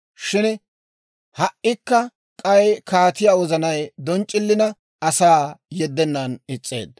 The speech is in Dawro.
Shin ha"ikka k'ay kaatiyaa wozanay donc'c'ilina, asaa yeddennan is's'eedda.